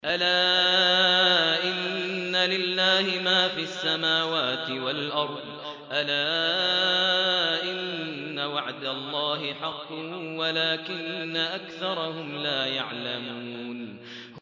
أَلَا إِنَّ لِلَّهِ مَا فِي السَّمَاوَاتِ وَالْأَرْضِ ۗ أَلَا إِنَّ وَعْدَ اللَّهِ حَقٌّ وَلَٰكِنَّ أَكْثَرَهُمْ لَا يَعْلَمُونَ